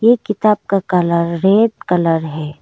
ये किताब का कलर रेड कलर है।